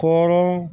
Ko